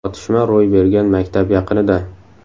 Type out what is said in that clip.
Otishma ro‘y bergan maktab yaqinida.